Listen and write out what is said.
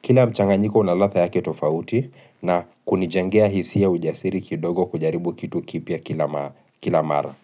Kila mchanganyiko una ladha yake tofauti na kunijengea hisia ujasiri kidogo kujaribu kitu kipya kila mara.